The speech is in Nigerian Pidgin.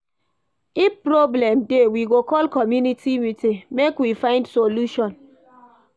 If problem dey, we go call community meeting, make we find solution.